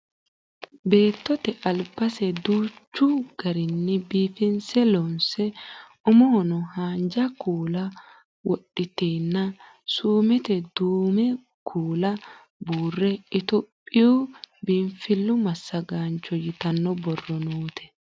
beettote albase duuchu garinni biifinse loonse umohono haanja kuula wodhiteenna suumete duumo kuula buurre itiyophiyuu biinfillu massagaancho yitanno borro noote